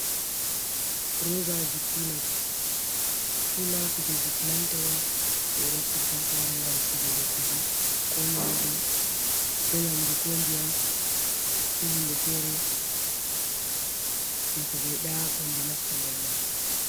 Robaji kula. kula, kuje kilanta je ɓe naftirta ha sare gam sigugo kuje, ko nyamdu ko ndiyam, ko hunde fere je ko ɓeyiɗa hunde nasta nder man.